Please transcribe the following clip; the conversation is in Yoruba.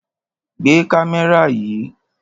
Gbé kámẹ́rà yìí!